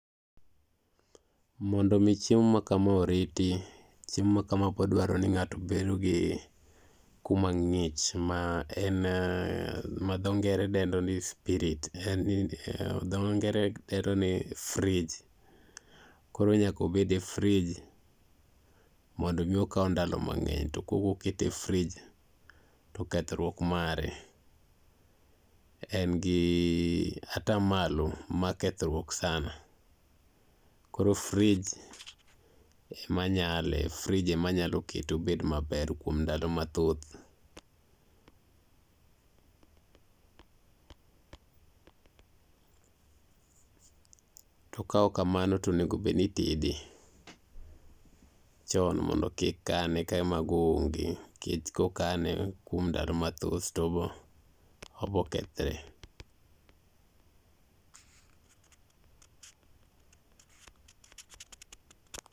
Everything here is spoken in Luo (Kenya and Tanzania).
Mondo mi chiemo ma kama oriti, chiemo ma kama bodwaro ni ng'ato bedo gi kuma ng'ich ma en ma dho ngere dendo ni spirit, ma dho ngere dendo ni fridge. Koro nyakobed e frij mondo mi okaw ndalo mang'eny to kokokete e frij to kethruok mare en gi ata malo mar kethruok sana. Koro frij emanyale, frij emanyalo kete obed maber kuom ndalo mathoth. To kaok kamano tonegobedni itede chon mondo kik kane kae mago onge. Kech kokane kuom ndalo mathoth tobo, obokethre.